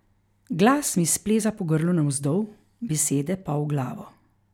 Glas mi spleza po grlu navzdol, besede pa v glavo.